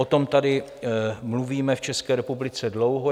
O tom tady mluvíme v České republice dlouho.